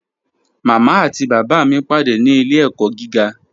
Mama àti baba mi pàdé ní ilẹ̀-ẹ̀kọ̀ gígà.